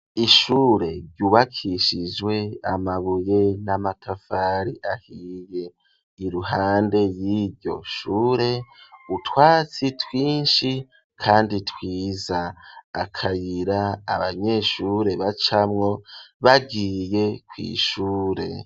Ishure ryubakishijwe amabuye n'amatafari ahiye, iruhande y'iryo shure utwatsi twinshi kandi twiza, akayira abanyeshure bacamwo bagiye kw'ishure.